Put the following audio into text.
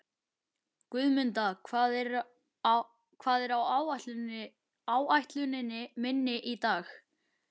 Guðmunda, hvað er á áætluninni minni í dag?